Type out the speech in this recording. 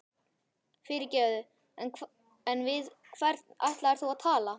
Fyrirgefðu, en við hvern ætlaðir þú að tala?